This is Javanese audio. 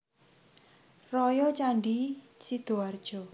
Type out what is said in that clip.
Raya Candi Sidoarjo